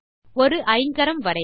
ஒரு ஐங்கரம் வரைக